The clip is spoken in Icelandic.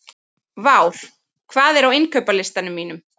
Vár, hvað er á innkaupalistanum mínum?